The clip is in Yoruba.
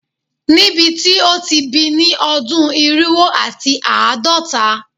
Nibiti o ti bi ni odun irinwo ati aadọta